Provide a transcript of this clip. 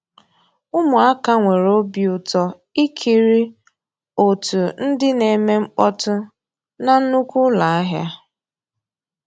Ụmụ́àká nwèré òbí ụtọ́ ìkírí ótú ndị́ ná-èmè mkpọ́tụ́ ná nnùkwú ụ́lọ́ àhịá.